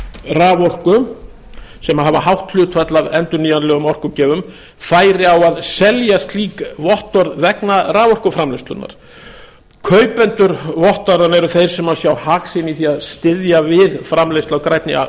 raforku sem hafa hátt hlutfall af endurnýjanlegum orkugjöfum færi á að selja slík vottorð vegna raforkuframleiðslunnar kaupendur vottorða eru þeir sem sjá hag sinn í því að styðja við framleiðslu á grænni